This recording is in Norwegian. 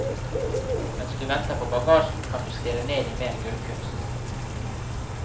Mens du venter på bagasjen kan du stirre ned i mer gulvkunst.